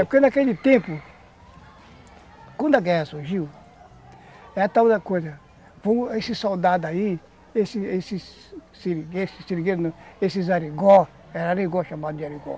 Porque naquele tempo, quando a guerra surgiu, era tal da coisa, esses soldados aí, esses esses seringueiros, esses arigó, era arigó chamado de arigó.